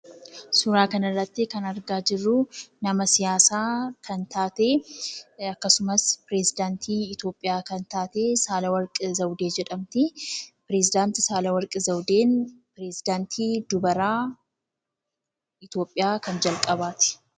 Suuraa kanarratti kan argaa jirruu nama siyaasaa kan taate akkasumas piresedaantii itoopiyaa kan taatee Saalawarqi Zawudee jedhamtii. Perezidaantii Saalawarqi Zawudeen pirezidaantii dubaraa kan jalqabaati.